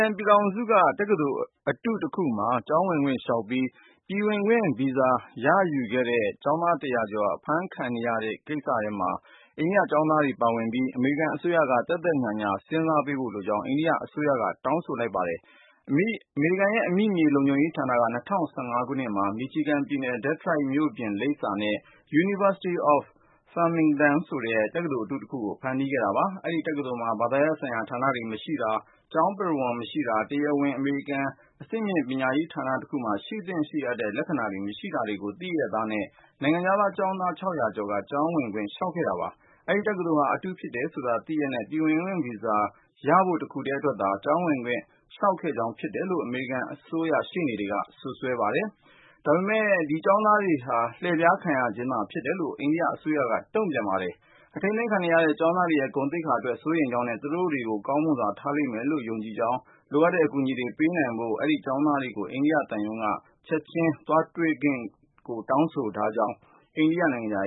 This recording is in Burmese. န်ပြည်ထောင်စုက တက္ကသိုလ်အတု တခုမှာ ကျောင်းဝင်ခွင့်လျှောက်ပြီး ပြည်ဝင်ခွင့်ဗီဇာ ရယူခဲ့တဲ့ အိန္ဒိယကျောင်းသား တရာကျော် အမေရိကန်မှာ အဖမ်းခံနေရတဲ့ကိစ္စကို အမေရိကန်အစိုးရက သက်သက်ညှာညှာ စဉ်းစားပေးစေလိုကြောင်း အိန္ဒိယအစိုးရက တောင်းဆို လိုက်ပါတယ်။ အမေရိကန် အမိမြေလုံခြုံရေးဌာနက ၂၀၁၅ ခုနှစ်ထဲမှာ Michigan ပြည်နယ် Detroit မြို့ပြင်လိပ်စာနဲ့ University of Farmington ဆိုတဲ့ တက္ကသိုလ်အတု တခုကို ဖန်တီးခဲ့တာပါ။ အဲဒီတက္ကသိုလ်မှာ ဘာသာရပ်ဆိုင်ရာ ဌာနတွေမရှိတာ၊ ကျောင်းပုရဝုဏ် မရှိတာ၊ တရားဝင် အမေရိကန် အဆင့်မြင့်ပညာရေး ဌာနတခုမှာ ရှိသင့်ရှိထိုက်တဲ့ လက္ခဏာတွေ မရှိတာတွေကို၊ သိလျှက်သားနဲ့ နိုင်ငံခြားသားကျောင်းသား ကျော်က ကျောင်းဝင်ခွင့် လျှောက်ထားခဲ့တာပါ။ အဲဒီတက္ကသိုလ်ဟာ အတုဖြစ်တယ်ဆိုတာ သိရဲ့နဲ့ ပြည်ဝင်ခွင့်ဗီဇာရဖို့ တခုထဲ အတွက်သာ ကျောင်း ဝင်ခွင့် လျှောက်ခဲ့ခြင်းသာဖြစ်တယ်လို့ အမေရိကန်အစိုးရ ရှေ့နေတွေက စွပ်စွဲလိုက်ပါတယ်။ ဒါပေမဲ့ အိန္ဒိယအစိုးရ ကတော့ သူတို့ရဲ့ အိန္ဒိယ ကျောင်းသားအများစုဟာ လှည့်ဖျားခံရခြင်းသာ ဖြစ်တယ်လို့ တုန့်ပြန်ပါတယ်။ အထိန်းသိမ်းခံနေရတဲ့ အိန္ဒိယကျောင်းသားတွေရဲ့ ဂုဏ်သိက္ခာအတွက် စိုးရိမ်ကြောင်းနဲ့ သူတို့တွေကို ကောင်းမွန်စွာ ထားလိမ့်မယ်လို့ ယုံကြည့်ကြောင်း ၊ လိုအပ်တဲ့အကူအညီတွေ ပေးနိုင်ဖို့ အဆိုပါကျောင်းသားတွေကို အိန္ဒိယသံရုံးက ချက်ချင်း သွားတွေ့ခွင့်ပေးဖို့ကိုလည်း တောင်းဆိုပါကြောင်း စနေနေ့က ထုတ်ပြန်တဲ့ အိန္ဒိယနိုင်ငံခြား